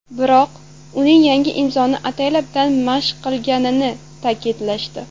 Biroq, uning yangi imzoni ataylabdan mashq qilmaganini ta’kidlashdi.